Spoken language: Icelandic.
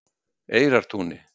Eyrartúni